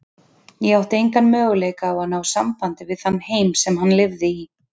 Ég átti enga möguleika á að ná sambandi við þann heim sem hann lifði í.